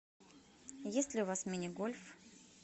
есть ли у вас мини гольф